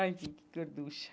Aqui, que gorducha!